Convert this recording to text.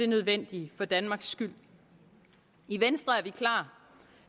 nødvendige for danmarks skyld i venstre er vi klar